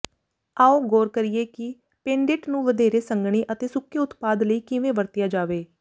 ਆਓ ਗੌਰ ਕਰੀਏ ਕਿ ਪੇਂਡੇਟ ਨੂੰ ਵਧੇਰੇ ਸੰਘਣੀ ਅਤੇ ਸੁੱਕੇ ਉਤਪਾਦ ਲਈ ਕਿਵੇਂ ਵਰਤਿਆ ਜਾਵੇ